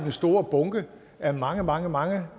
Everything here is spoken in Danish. store bunke af mange mange mange